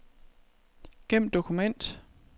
Gem dokument.